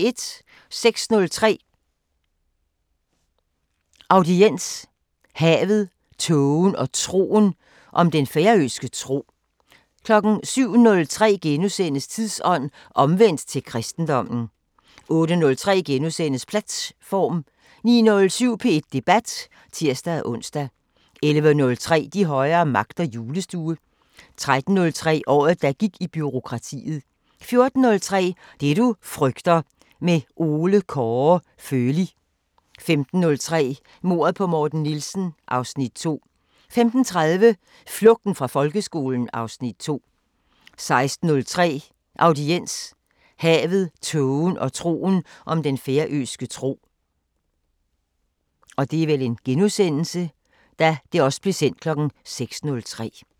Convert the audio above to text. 06:03: Audiens: Havet, tågen og troen – om den færøske tro 07:03: Tidsånd: Omvendt til kristendommen * 08:03: Platt-form * 09:07: P1 Debat *(tir-ons) 11:03: De højere magter: Julestue 13:03: Året der gik i bureaukratiet 14:03: Det du frygter – med Ole Kåre Føli 15:03: Mordet på Morten Nielsen (Afs. 2) 15:30: Flugten fra folkeskolen (Afs. 2) 16:03: Audiens: Havet, tågen og troen – om den færøske tro